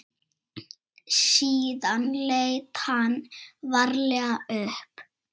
Síðan leit hann varlega upp.